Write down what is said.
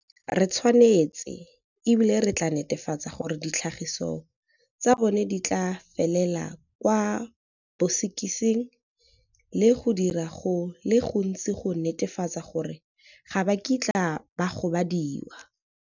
Re tshwanetse, e bile re tla netefatsa gore ditlhagiso tsa bona di tla felela kwa bosekising le go dira go le gontsi go netefatsa gore ga ba kitla ba gobadiwa.